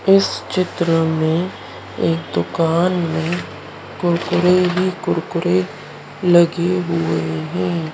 इस चित्र में एक दुकान में कुरकुरे ही कुरकुरे लगे हुए हैं।